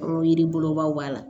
Yiri bolobaw b'a la